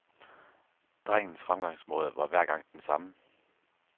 Drengens fremgangsmåde var hver gang den samme.